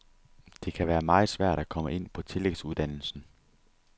Det kan være meget svært at komme ind på tillægsuddannelsen.